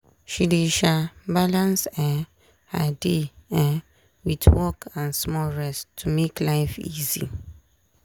she dey um balance um her day um wit work and small rest to make life easy.